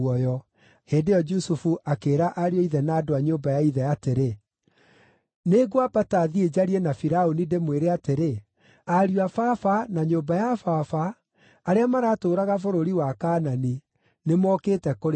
Hĩndĩ ĩyo Jusufu akĩĩra ariũ a ithe na andũ a nyũmba ya ithe atĩrĩ, Nĩngwambata thiĩ njarie na Firaũni, ndĩmwĩre atĩrĩ, Ariũ a baba, na nyũmba ya baba, arĩa maratũũraga bũrũri wa Kaanani, nĩmokĩte kũrĩ niĩ.